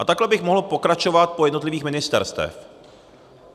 A takhle bych mohl pokračovat po jednotlivých ministerstvech.